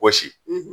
Wɔsi